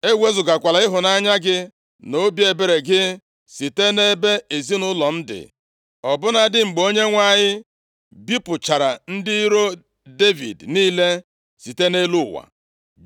E wezugakwala ịhụnanya gị na obi ebere gị site nʼebe ezinaụlọ m dị, ọ bụladị mgbe Onyenwe anyị bipụchara ndị iro Devid niile site nʼelu ụwa.”